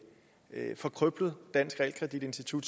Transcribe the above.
danske realkreditsystem